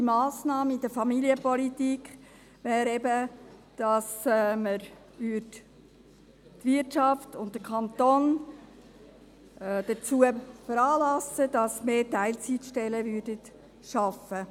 Ich denke, eine wichtige Massnahme in der Familienpolitik wäre, dass man die Wirtschaft und den Kanton dazu veranlasst, mehr Teilzeitstellen zu schaffen.